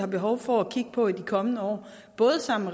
behov for at kigge på i de kommende år både sammen